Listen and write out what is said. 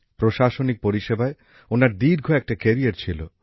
প্রশাসনিক পরিষেবায় ওনার দীর্ঘ একটা কেরিয়ার ছিল